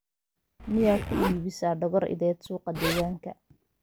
miyaa ku iibisaa dhogor ideed suuqa degaanka